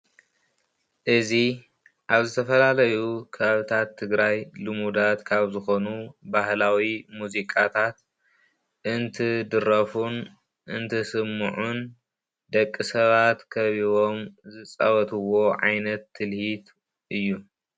እዚ አብ ዝተፈላለዩ ከባብታት ትግራይ ልሙዳት ካብዝኾኑ ባህላዊ ሙዚቃታት እንትድረፉን እንትስምዑን ደቂ ሰባት ከቢቦም ዝፃወትዎ ዓይነት ትልሂት እዩ።